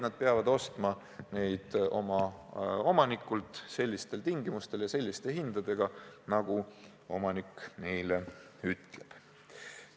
Nad peavad ostma oma omanikult sellistel tingimustel ja selliste hindadega, nagu omanik neile ütleb.